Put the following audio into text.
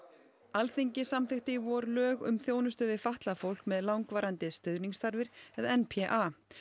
Alþingi samþykkti í vor lög um þjónustu við fatlað fólk með langvarandi stuðningsþarfir eða n p a